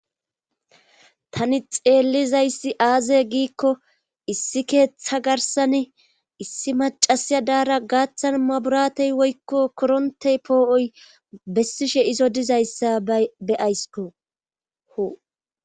tani xeellizayssi aaze giikko issi keeththa garsani issi macasiya daara gaaththan maburatey woykko korontey poo7oy bessishe izo dizayssa be7aysko.